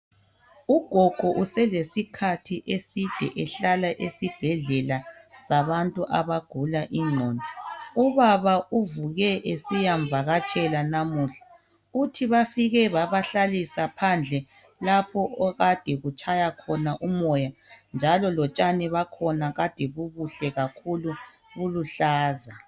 Ugogo uselesi sikhathi eside ehlala esibhedlela sabantu abagula ingqondo .Ubaba uvuke esiyamvakatshela namuhla. Uthi bafike babahlalisa phandle lapho okade kutshaya khona umoya .Njalo lotshani bakhona kade bubuhle kakhulu buluhlaza.